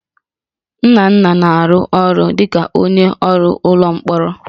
Nnanna na-arụ ọrụ dịka onye ọrụ ụlọ mkpọrọ